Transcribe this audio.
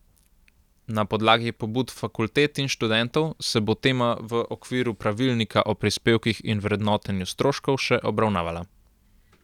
Na podlagi pobud fakultet in študentov se bo tema v okviru pravilnika o prispevkih in vrednotenju stroškov še obravnavala.